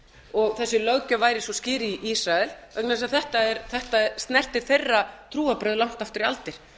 og þessi löggjöf væri svo skýr í ísrael vegna þess að þetta snertir þeirra trúarbrögð langt aftur í aldir